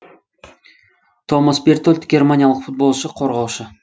томас бертольд германиялық футболшы қорғаушы